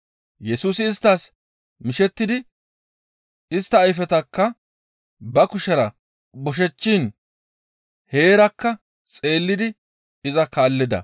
Yesusi isttas mishettidi istta ayfetakka ba kushera boshechiin heerakka xeellidi iza kaallida.